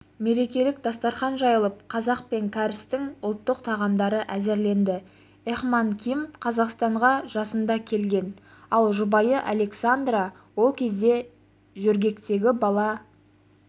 мерекелік дастархан жайылып қазақ пен кәрістің ұлттық тағамдары әзірленді эхман ким қазақстанға жасында келген ал жұбайы александра ол кезде жөргектегі бала